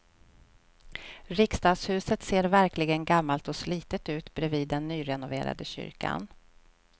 Riksdagshuset ser verkligen gammalt och slitet ut bredvid den nyrenoverade kyrkan.